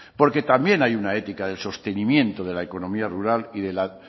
porque también hay una ética del sostenimiento de la economía rural y de la